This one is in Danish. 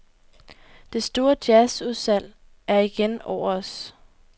Det store jazz-udsalg er igen over os.